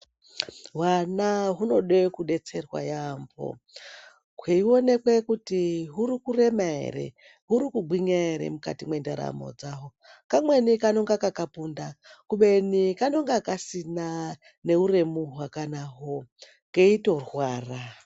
Hwana hwunode kudetserwa yampho hweionekwe kuti hwuri kurema ere hwuri kugwinya ere mukati mwendaramo yahwo. Kamweni kanenge kakapunda kubeni kanenge kasina neuremu hwakanahwo keitorwara.